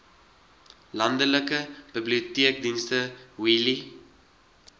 landelike biblioteekdienste wheelie